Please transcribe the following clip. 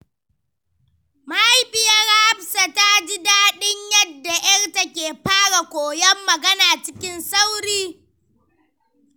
Mahaifiyar Hafsat ta ji daɗin yadda ‘yarta ke fara koyon magana cikin sauri.